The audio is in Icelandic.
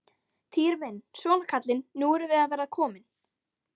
Týri minn, svona kallinn, nú erum við að verða komin.